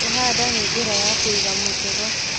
Kũhanda na njĩra ya kũiga mũtego